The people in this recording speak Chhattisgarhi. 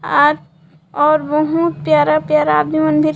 आज और बहुत प्यारा प्यारा आदमी मन भी--